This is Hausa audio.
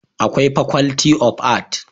Akwai faculty of art